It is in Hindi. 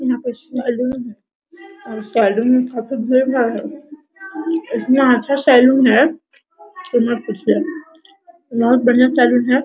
यहाँ पर सैलून है और सैलून में काफी भीड़ | इतना अच्छा सैलून है कि मत पूछिए बहुत बढ़िया सैलून है ।